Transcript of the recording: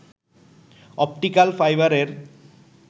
optical ফাইবারের